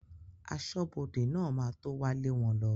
Aṣọ́bọdè náà ma tó wá lé wọn lọ